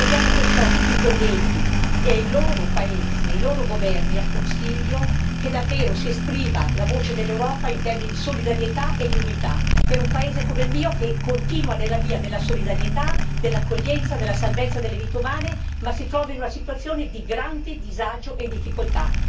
Chiediamo perciò a tutti i colleghi, ai loro paesi e ai loro governi e al Consiglio che davvero si esprima la voce dell'Europa, in termini di solidarietà e di unità, per un paese come il mio che continua nella via della solidarietà, dell'accoglienza, della salvezza delle vite umane, ma si trova in una situazione di grande disagio e difficoltà.